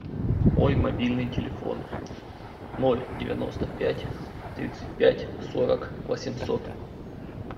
мой мобильный телефон ноль девяносто пять тридцать пять сорок восемьсот